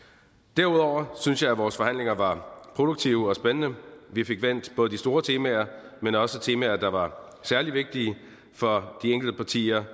derudover synes jeg at vores forhandlinger var produktive og spændende vi fik vendt både de store temaer men også temaer der var særlig vigtige for de enkelte partier